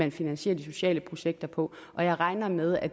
at finansiere de sociale projekter på og jeg regner med at